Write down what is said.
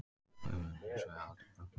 Við munum hins vegar halda áfram